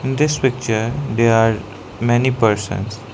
in this picture they are many persons.